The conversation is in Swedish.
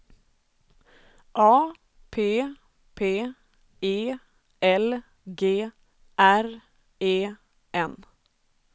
A P P E L G R E N